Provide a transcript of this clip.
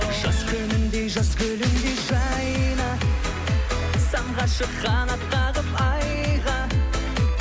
жаз күніндей жаз гүліндей жайна самғашы қанат қағып айға